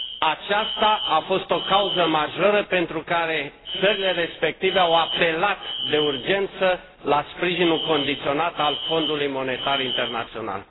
Aceasta a fost o cauză majoră pentru care țările respective au apelat de urgență la sprijinul condiționat al Fondului Monetar Internațional.